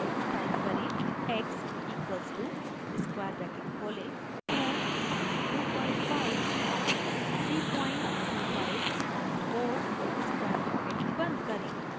type करें: x equals to square bracket खोलें 2 comma 25 comma 325 comma 4 square bracket खोलें